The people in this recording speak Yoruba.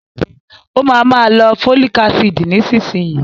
Ó ma ma lo fólìk ácìdì nísinsìnyí